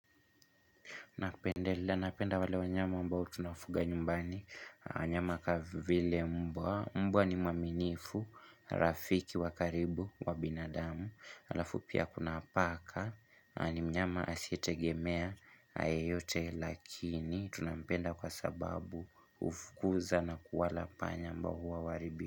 Napenda wale wanyama ambao tunafuga nyumbani, wanyama kavile mbwa, mbwa ni maminifu, rafiki wa karibu, wa binadamu, alafu pia kuna paka ni mnyama asietegemea, yeyote lakini, tunampenda kwa sababu hufukuza na kuwala panya ambao hua waribi.